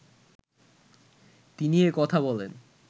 তিনি একথা বলেন